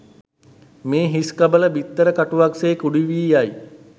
මේ හිස්කබල, බිත්තර කටුවක් සේ කුඩු වී යයි.